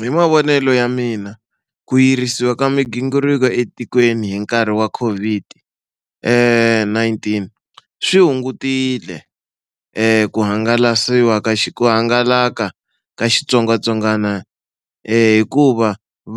Hi mavonelo ya mina ku yirisiwa ka migingiriko etikweni hi nkarhi wa COVID-19 swi hungutile ku hangalasiwa ka ku hangalaka ka xitsongwatsongwana hikuva